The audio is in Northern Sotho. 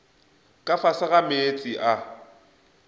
ka fase ga meetse a